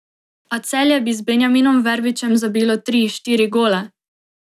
A Celje bi z Benjaminom Verbičem zabilo tri, štiri gole.